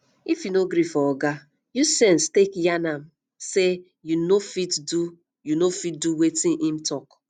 if you no gree for oga use sense take yarn am sey you no go fit do go fit do wetin im talk